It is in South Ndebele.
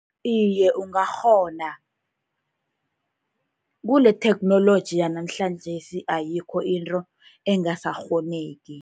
Iye, ungakghona. Kule-technology yanamhlanjesi ayikho into engasakghoneki.